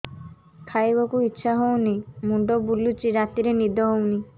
ଖାଇବାକୁ ଇଛା ହଉନି ମୁଣ୍ଡ ବୁଲୁଚି ରାତିରେ ନିଦ ହଉନି